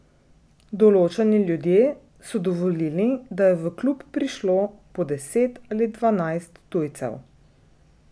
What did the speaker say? Določeni ljudje so dovolili, da je v klub prišlo po deset ali dvanajst tujcev.